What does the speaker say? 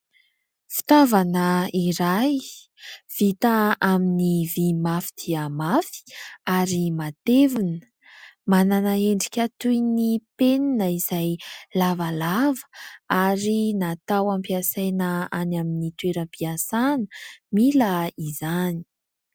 Fitaovana iray vita amin'ny vy mafy dia mafy ary matevina, manana endrika toy ny penina izay lavalava ary natao ampiasaina any amin'ny toeram-piasana mila izany.